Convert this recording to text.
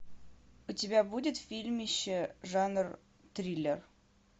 у тебя будет фильмище жанр триллер